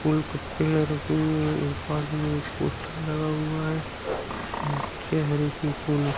एक पोस्टर लगा हुआ है। --